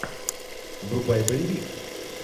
врубай боевик